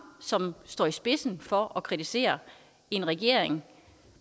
som står i spidsen for at kritisere en regering